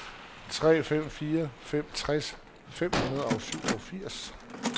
tre fem fire fem tres fem hundrede og syvogfirs